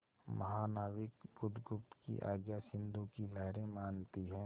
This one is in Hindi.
महानाविक बुधगुप्त की आज्ञा सिंधु की लहरें मानती हैं